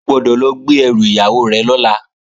O gbọ́dọ̀ lọ gbé ẹrù ìyàwó rẹ̀ lọ́la!